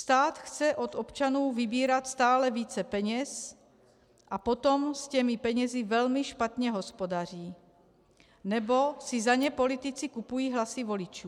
Stát chce od občanů vybírat stále více peněz a potom s těmi penězi velmi špatně hospodaří nebo si za ně politici kupují hlasy voličů.